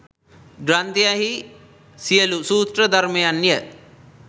ග්‍රන්ථයෙහි සියලු සූත්‍ර ධර්මයන් ය.